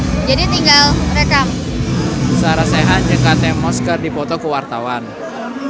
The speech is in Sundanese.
Sarah Sechan jeung Kate Moss keur dipoto ku wartawan